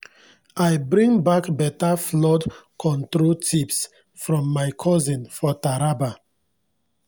i bring bak beta flood control tips from my cousin for taraba